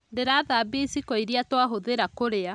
Ndĩrathambia iciko iria twahũthĩra kũrĩa